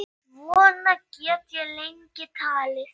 Svona get ég lengi talið.